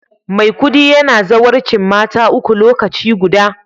Maikudi yana zawarcin mata uku lokaci guda